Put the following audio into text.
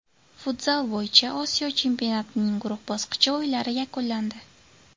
Futzal bo‘yicha Osiyo chempionatining guruh bosqichi o‘yinlari yakunlandi.